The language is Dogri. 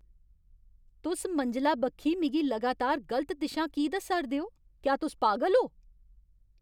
तुस मंजला बक्खी मिगी लगातार गलत दिशां की दस्सा 'रदे ओ। क्या तुस पागल ओ?